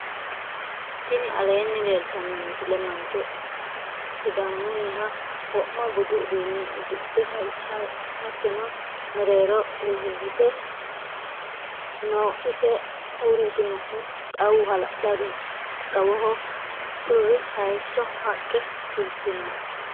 tini alleni leltano misile .mancho sisamuniha. wo'ma buudu uduunne udidhe hayiaote meerero urite noo. ise uritinohu xaawu ha'la'ladoho. xawoho woluri hayiso. haqe fulti noo.